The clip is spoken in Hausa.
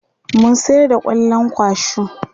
mun sayar da kwallon kwashu